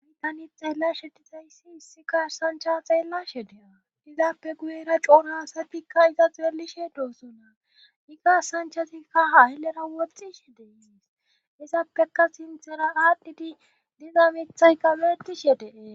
Ani tani xeellashe dizayssi hissikasancha xeellashe dea dizappe guyera coonhaasatikka iza xeelishe doosona i gasanchasikka haaylera woxxishe deysis izappeka sinthera aadhdhidi dizamethay kabetishe dee